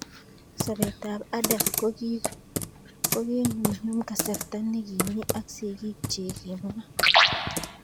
Sobet ab Adam kokinyumnyum kasarta nikimi ak sigik chik, kimwa.